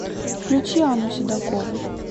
включи анну седокову